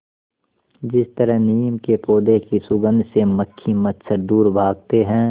जिस तरह नीम के पौधे की सुगंध से मक्खी मच्छर दूर भागते हैं